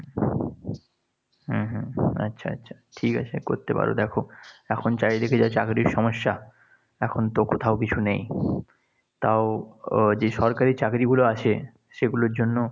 হম হম আচ্ছা, আচ্ছা। ঠিক আছে করতে পার। এখন চারিদিকে যা চাকরির সমস্যা। এখন তো কোথাও কিছু নেই। তাও যে সরকারি চাকরিগুলো আছে সেগুলোর জন্য